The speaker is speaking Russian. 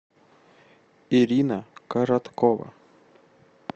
ирина короткова